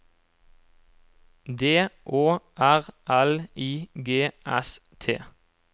D Å R L I G S T